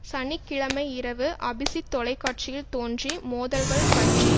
சனி கிழமை இரவு அபிசித் தொலைக்காட்சியில் தோன்றி மோதல்கள் பற்றி